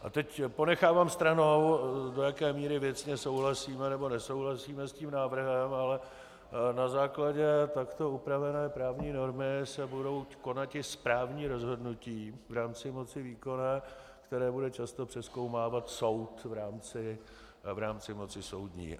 A teď ponechávám stranou, do jaké míry věcně souhlasíme, nebo nesouhlasíme s tím návrhem, ale na základě takto upravené právní normy se budou konati správní rozhodnutí v rámci moci výkonné, která bude často přezkoumávat soud v rámci moci soudní.